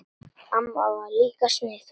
Amma var líka sniðug.